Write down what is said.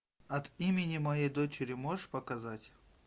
от имени моей дочери можешь показать